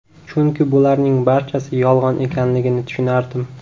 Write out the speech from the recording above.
Chunki bularning barchasi yolg‘on ekanligini tushunardim.